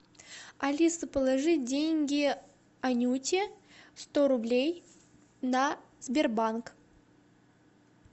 алиса положи деньги анюте сто рублей на сбербанк